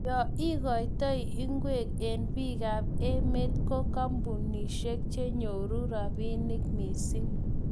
yo igoitoi ungwek eng bikaap emet ko kampunishet chenyoru robinik mising